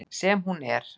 Sem hún er.